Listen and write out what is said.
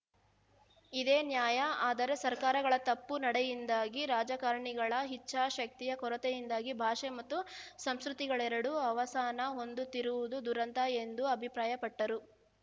ಇದೇ ನ್ಯಾಯ ಆದರೆ ಸರ್ಕಾರಗಳ ತಪ್ಪು ನಡೆಯಿಂದಾಗಿ ರಾಜಕಾರಣಿಗಳ ಇಚ್ಛಾಶಕ್ತಿಯ ಕೊರತೆಯಿಂದಾಗಿ ಭಾಷೆ ಮತ್ತು ಸಂಸ್ಕೃತಿಗಳೆರಡು ಅವಸಾನ ಹೊಂದುತ್ತಿರುವುದು ದುರಂತ ಎಂದು ಅಭಿಪ್ರಾಯಪಟ್ಟರು